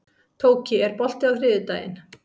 Tóki, er bolti á þriðjudaginn?